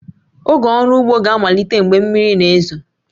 Oge ọrụ ugbo ga-amalite mgbe mmiri na-ezo